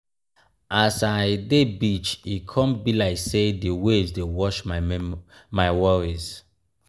as i dey beach e come um be like sey di waves dey wash my worries.